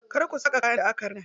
Kar ku saka kayan da aka rina.